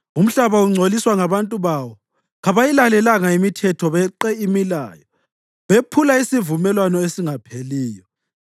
Umhlaba ungcoliswa ngabantu bawo. Kabayilalelanga imithetho, beqe imilayo bephula isivumelwano esingapheliyo.